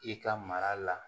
I ka mara la